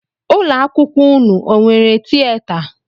Ụlọ akwụkwọ ụnụ o nwere tieta?